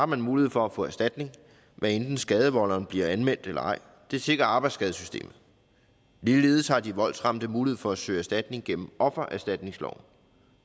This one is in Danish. man mulighed for at få erstatning hvad enten skadevolderen bliver anmeldt eller ej det sikrer arbejdsskadesystemet ligeledes har de voldsramte mulighed for at søge erstatning gennem offererstatningsloven